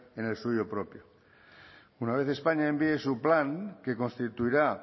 en el suyo propio una vez españa envíe su plan que constituirá